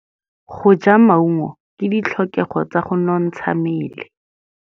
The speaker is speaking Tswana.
Go ja maungo ke ditlhokegô tsa go nontsha mmele.